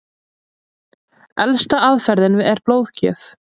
Elsta aðferðin er blóðgjöf.